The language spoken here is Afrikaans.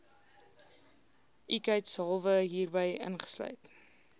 ikheidshalwe hierby ingesluit